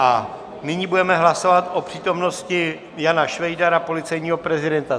A nyní budeme hlasovat o přítomnosti Jana Švejdara, policejního prezidenta.